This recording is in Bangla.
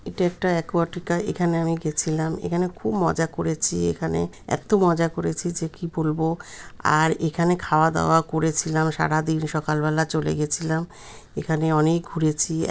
এটা একটা অ্যাকোয়াটিকা | এখানে আমি গেছিলাম এখানে খুব মজা করেছি | এখানে এত মজা করেছি যে কি বলব আর এখানে খাওয়া দাওয়া করেছিলাম | সারাদিন সকাল বেলা চলে গেছিলাম এখানে অনেক ঘুরেছি।